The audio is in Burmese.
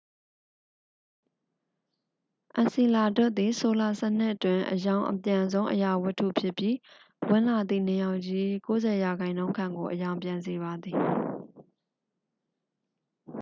အန်စီလာဒွတ်စ်သည် ဆိုလာစနစ်တွင် အရောင်အပြန်ဆုံး အရာဝတ္ထုဖြစ်ပြီး ဝင်လာသည့် နေရောင်ခြည်၏ 90 ရာခိုင်နှုန်းခန့်ကို အရောင်ပြန်စေပါသည်